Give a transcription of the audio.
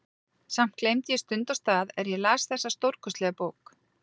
Samt gleymdi ég stund og stað er ég las þessa stórkostlegu bók.